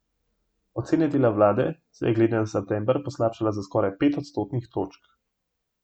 Ocena dela vlade se je glede na september poslabšala za skoraj pet odstotnih točk.